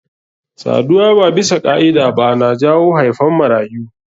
Saduwa ba bisa ka'ida ba na jawo haifan marayu.